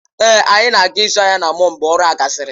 Èé, anyị na-aga ịzụ ahịa na mọll mgbe ọrụ a gasịrị.